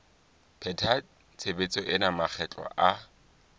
pheta tshebetso ena makgetlo a